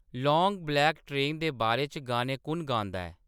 long black train दे बारे च गाने कु'न गांदा ऐ